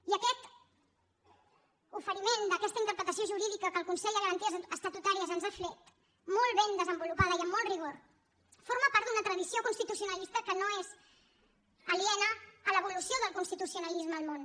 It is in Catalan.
i aquest oferiment d’aquesta interpretació jurídica que el consell de garanties estatutàries ens ha fet molt ben desenvolupada i amb molt rigor forma part d’una tradició constitucionalista que no és aliena a l’evolució del constitucionalisme al món